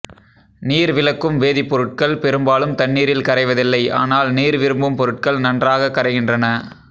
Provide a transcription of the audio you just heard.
நீர் விலக்கும் வேதிப்பொருட்கள் பெரும்பாலும் தண்ணீரில் கரைவதில்லை ஆனால் நீர்விரும்பும் பொருட்கள் நன்றாகக் கரைகின்றன